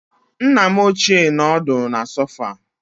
Nna m ochié nọ ọdụ na sòfà